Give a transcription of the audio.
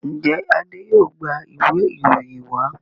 njé Ade yóò gbà Ìwé ìròyìn wa?